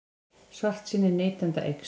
Svartsýni neytenda eykst